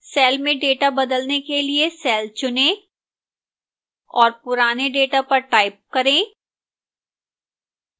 cell में data का बदलने के लिए cell चुनें और पुराने data पर type करें